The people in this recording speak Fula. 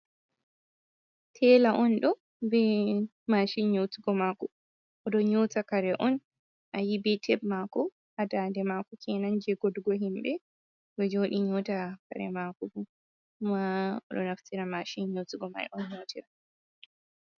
Tela on ɗo ɓe mashin nyotugo mako, oɗ nyota kare on, a yi ɓe teb mako ha nɗande mako kenan je godu go himbe, oɗo joɗi nyota kare mako, bo ma oɗo naftira mashin nyotugo mai on nyotira.